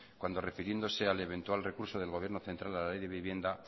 cuando refiriéndose al eventual recurso del gobierno central de la ley de vivienda